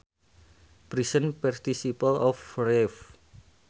Present participle of rave